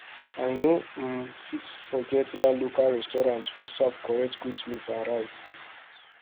i no um fit forget that local restaurant wey serve correct goat meat and rice